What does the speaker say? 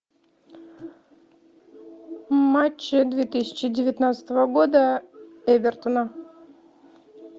матч две тысячи девятнадцатого года эвертона